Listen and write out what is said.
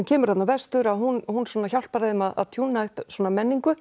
kemur þarna vestur hún hún hjálpar þeim að tjúna upp menningu